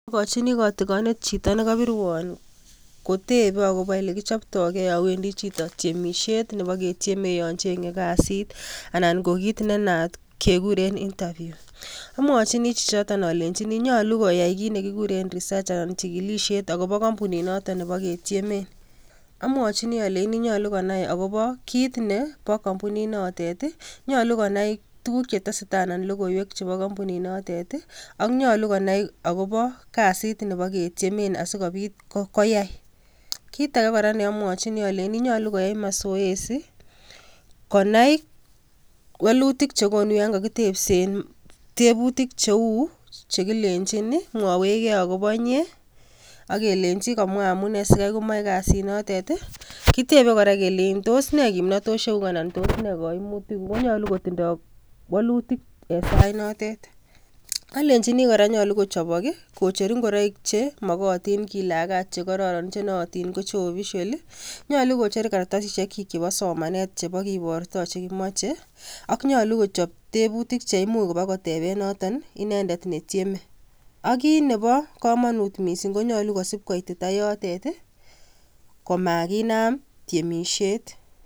Agojini kotigonet chito nigobirwon kotebe agobo olegichobtogen yon wendi chito tiemisiet nepogetieme yon cheng'e kasit anan kit nenaat kekirun interview amwojini chichoton olenjini nyolu koyai kinegikuren research anan chigilisiet agobo kompunit noton nebogetiemen, amwojini ole nyolu konai agopo kit nepo kompuninotet i,nyolu konai tukuk chetesetetai anan logoiwek chepo kompunit notet i, ak nyolu konai agopo kasit nepboketiemen asikobit koyai, kit ake kora neomwojini kora ko nyolu koyai masoezi konai wolutik chekonu yon kokitebsen tebutik cheu chekilenjin mwowech gee akobo inyee, ak kelenji komwa amune sikai komaje kasit notet i,kitebe kora kelejin, tos ne kimnotosyekyuk? ak nee koimunik kut?, ko nyolu kotinye wolutik en sait notet, olenjini kora nyolu kochobok i,kocher ing'oroik chemogotin kilagat chegororon chenootin ko official i ,nyolu kora kocher kartasisiekyik chebo somanet chebokiborto chekimoje ak nyolu kora kochob tebutik cheimuch kibokoteben noton inendet netyem ak kit nepo komonut missing ko nyolu kosib koitita yotet i komakinam tyemisiet.